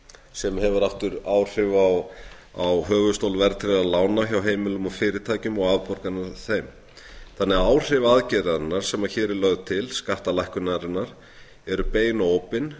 sem hefur aftur áhrif á höfuðstól verðtryggðra lána hjá heimilum og fyrirtækjum og afborganir af þeim þannig að áhrif aðgerðarinnar sem hér er lögð til skattalækkunarinnar eru bein og óbein